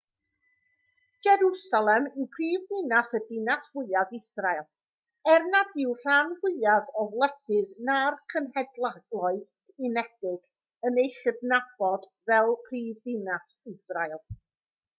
jerwsalem yw prifddinas a dinas fwyaf israel er nad yw'r rhan fwyaf o wledydd na'r cenhedloedd unedig yn ei chydnabod fel prifddinas israel